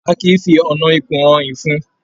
A kìí fí ọnà ikùn hàn ìfun.